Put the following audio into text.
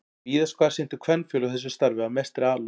Víðast hvar sinntu kvenfélög þessu starfi af mestri alúð.